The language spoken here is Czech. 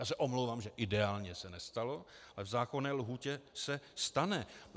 Já se omlouvám, že ideálně se nestalo, ale v zákonné lhůtě se stane.